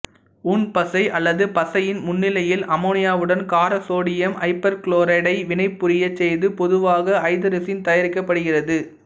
ஊன்பசை அல்லது பசையின் முன்னிலையில் அமோனியாவுடன் கார சோடியம் ஐப்போகுளோரைடை வினைபுரியச் செய்து பொதுவாக ஐதரசீன் தயாரிக்கப்படுகிறது